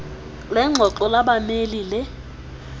lengxoxo labameli le